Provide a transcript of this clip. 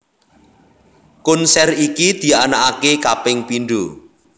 Konser iki dianakake kaping pindho